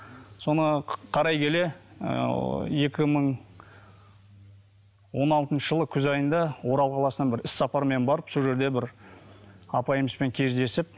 соны қарай келе ыыы екі мың он алтыншы жылы күз айында орал қаласына бір іс сапармен барып сол жерде бір апайымызбен кездесіп